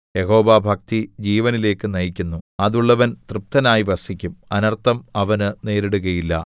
യഹോവാഭക്തി ജീവനിലേയ്ക്ക് നയിക്കുന്നു അതുള്ളവൻ തൃപ്തനായി വസിക്കും അനർത്ഥം അവന് നേരിടുകയില്ല